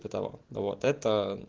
до того вот это